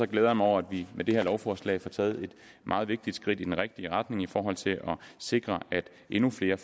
glæder mig over at vi med det her lovforslag får taget et meget vigtigt skridt i den rigtige retning i forhold til at sikre at endnu flere